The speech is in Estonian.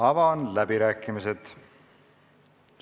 Avan läbirääkimised.